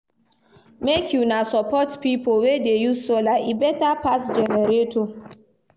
Make una support pipo wey dey use solar, e beta pass generator.